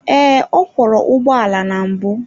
Ee, ọ kwọro ụgbọala na mbụ.